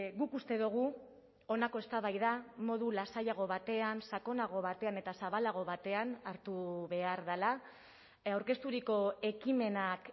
guk uste dugu honako eztabaida modu lasaiago batean sakonago batean eta zabalago batean hartu behar dela aurkezturiko ekimenak